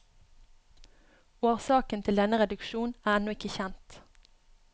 Årsaken til denne reduksjon er ennå ikke kjent.